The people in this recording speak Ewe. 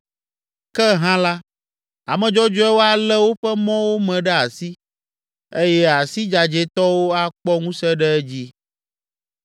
Ke hã la, ame dzɔdzɔewo alé woƒe mɔwo me ɖe asi eye asi dzadzɛtɔwo akpɔ ŋusẽ ɖe edzi.